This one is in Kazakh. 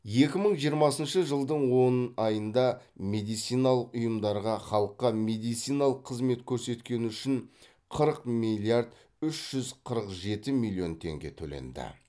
екі мың жиырмасыншы жылдың он айында медициналық ұйымдарға халыққа медициналық қызмет көрсеткені үшін қырық миллиард үш жүз қырық жеті миллион теңге төленді